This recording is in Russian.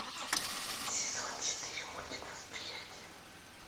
сезон четыре мультик восприятие